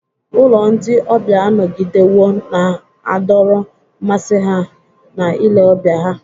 Ụlọ ndị ọbịa anọgidewo na-adọrọ mmasị ha na ile ọbịa ha.